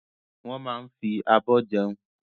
Wọ́n máa ń fi abọ́ jẹun.